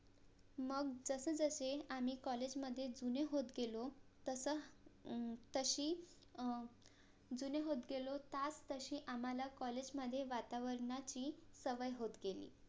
मग जसजसें आम्ही COLLAGE मधे जुने होत गेलो तस अं तशी अं जुने होत गेलो त्याचतशी आम्हाला COLLAGE मधे वातावरणाची सवय होत गेली